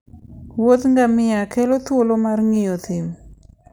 wuodh ngamia kelo thuolo mar ng'iyo thim.